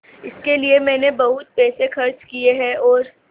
इसके लिए मैंने बहुत पैसे खर्च किए हैं और